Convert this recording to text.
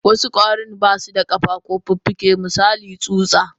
Wasu kwarin basuda kafa ko fuffuke misali tsuta.